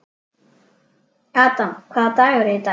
Adam, hvaða dagur er í dag?